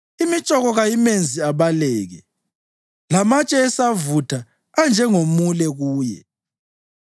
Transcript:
Imitshoko kayimenzi abaleke; lamatshe esavutha anjengomule kuye.